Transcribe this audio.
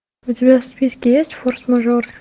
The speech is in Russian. у тебя в списке есть форс мажоры